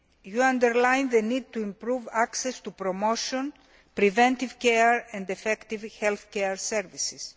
You underline the need to improve access to promotion, preventive care and effective healthcare services.